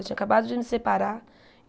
Eu tinha acabado de me separar.